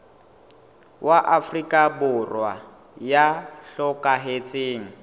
wa afrika borwa ya hlokahetseng